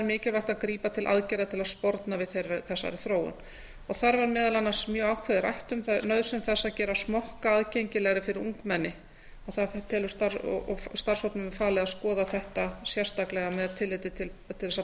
mikilvægt að grípa til aðgerða til að sporna við þessari þróun þar var meðal annars mjög ákveðið rætt um nauðsyn þess að gera smokka aðgengilegri fyrir ungmenni og starfshópnum er falið að skoða þetta sérstaklega með tilliti til þess að